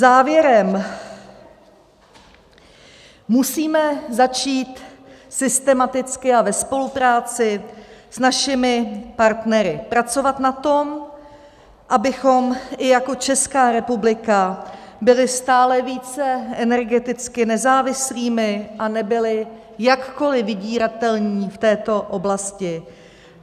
Závěrem: Musíme začít systematicky a ve spolupráci s našimi partnery pracovat na tom, abychom i jako Česká republika byli stále více energeticky nezávislými a nebyli jakkoliv vydíratelní v této oblasti.